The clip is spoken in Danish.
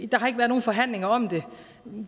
der har ikke været nogen forhandlinger om det